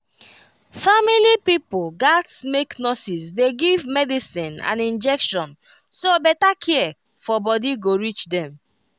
family pipo gats make nurses dey give medicine and injection so better care for body go reach dem